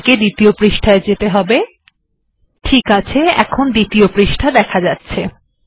এটি প্রথম পাতা এরপর দ্বিতীয় পাতায় যাওয়া যাক